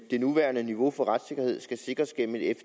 det nuværende niveau for retssikkerhed skal sikres gennem et